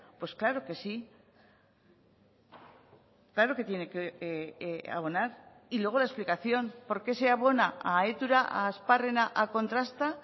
pues claro que sí claro que tiene que abonar y luego la explicación porque se abona a etura a asparrena a kontrasta